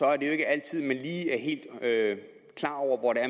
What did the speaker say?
er det jo ikke altid man lige er helt klar over hvor